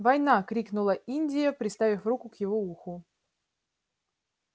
война крикнула индия приставив руку к его уху